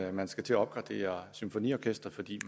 at man skal til at opgradere symfoniorkestret fordi